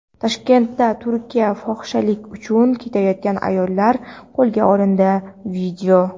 Toshkentda Turkiyaga fohishalik uchun ketayotgan ayollar qo‘lga olindi.